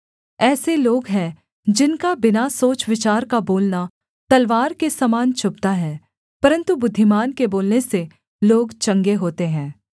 ऐसे लोग हैं जिनका बिना सोच विचार का बोलना तलवार के समान चुभता है परन्तु बुद्धिमान के बोलने से लोग चंगे होते हैं